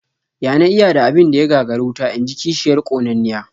"Ya na iya da abin da ya gagari wuta?", inji kishiyar ƙonanniya